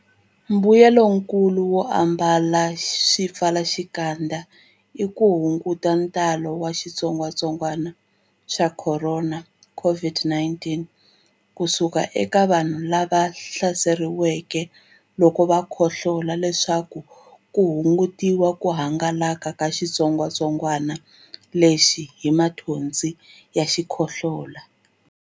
Mbuyelonkulu wo ambala swipfalaxikandza i ku hunguta ntalo wa xitsongwantsongwana xa Khorona, COVID-19, ku suka eka vanhu lava hlaseriweke loko va khohlola leswaku ku hungutiwa ku hangalaka ka xitsongwantsongwana lexi hi mathonsi ya xikhohlola.